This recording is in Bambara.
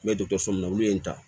N bɛ dɔkɔtɔrɔso mun na olu ye n ta